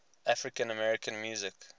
african american music